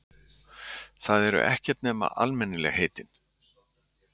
Þau eru ekkert nema almennilegheitin.